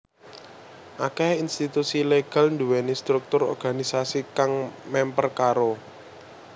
Akèh institusi legal duwèni struktur organisasi kang mèmper karo